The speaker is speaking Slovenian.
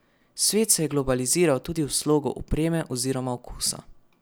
Svet se je globaliziral tudi v slogu opreme oziroma okusa.